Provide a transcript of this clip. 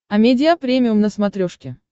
амедиа премиум на смотрешке